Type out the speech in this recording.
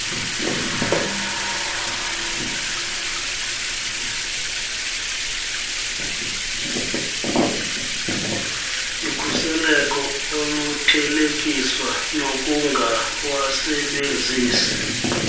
lukhuseleko oluthelekiswa nokungawasebenzisi